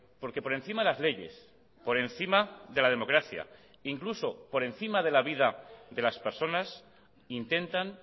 porque por encima de las leyes por encima de la democracia incluso por encima de la vida de las personas intentan